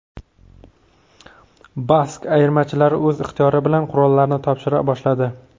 Bask ayirmachilari o‘z ixtiyori bilan qurollarini topshira boshladi.